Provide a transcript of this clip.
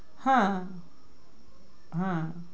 হ্যাঁ হ্যাঁ